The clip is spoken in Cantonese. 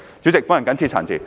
主席，本人謹此陳辭。